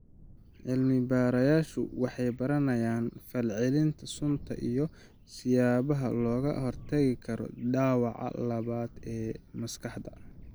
Cilmi-baarayaashu waxay baranayaan fal-celinta suntan iyo siyaabaha looga hortagi karo dhaawaca labaad ee maskaxda.